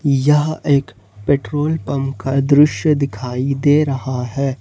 यह एक petrol pump का दृश्य दिखाई दे रहा हैं।